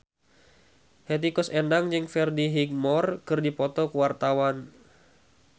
Hetty Koes Endang jeung Freddie Highmore keur dipoto ku wartawan